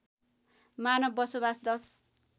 मानव बसोबास १०